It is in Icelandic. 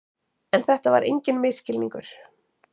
En þetta var enginn misskilningur.